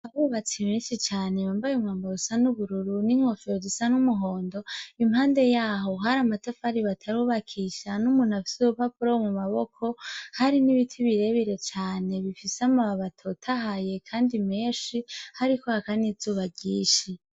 Abubatsi benshi cane bambaye imwambaro usa n'ubururu n'inkofero zisa n'umuhondo impande yaho hari amatafari batarukisha n'umuntu afise urupapuro mu maboko hari n'ibiti birebire cane bifise amababi atotahaye kandi menshi hariko haka n'izuba ryinshi.